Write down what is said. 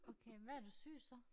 Okay hvad har du syet så?